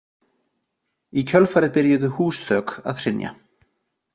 Í kjölfarið byrjuðu húsþök að hrynja.